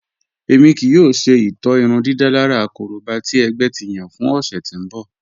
Ẹmi kìí yòò ṣè itọ̀ irúndídálàrà kòróbà tì ẹgbẹ̀ ti yàn fún òṣè tí n bọ̀.